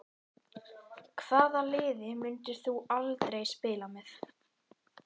Hvaða liði myndir þú aldrei spila með?